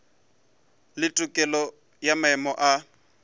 le tokelo ya maemo a